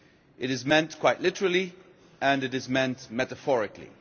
It is meant quite literally and it is meant metaphorically.